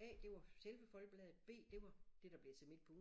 A det var selve Folkebladet B det var det der blev til Midt På Ugen